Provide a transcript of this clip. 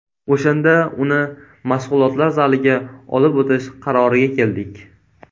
O‘shanda uni mashg‘ulotlar zaliga olib o‘tish qaroriga keldik.